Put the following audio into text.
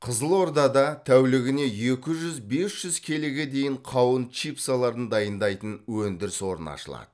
қызылордада тәулігіне екі жүз бес жүз келіге дейін қауын чипсаларын дайындайтын өндіріс орны ашылады